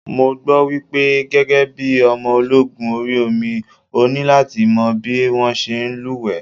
Mo gbọ́ wípé gẹ́gẹ́ bí ọmọ ológun orí omi, o ní láti mọ̀ bí wón ṣe ń lú wẹ́ẹ̀.